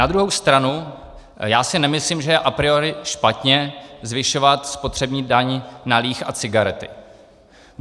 Na druhou stranu já si nemyslím, že je a priori špatně zvyšovat spotřební daň na líh a cigarety.